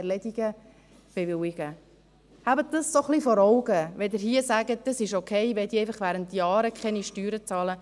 Halten Sie sich dies vor Augen, wenn Sie hier sagen, dass es okay sei, dass diese für Jahre keine Steuern bezahlen!